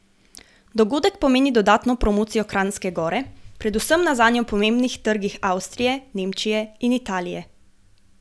Dogodek pomeni dodatno promocijo Kranjske Gore predvsem na zanjo pomembnih trgih Avstrije, Nemčije in Italije.